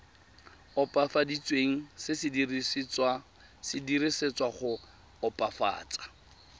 opafaditsweng se dirisetswa go opafatsa